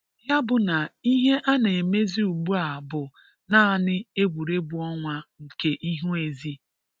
Ya bụ na ihe a na-emezi ugbua bụ naanị egwuregwu ọnwa nke ihu ezi.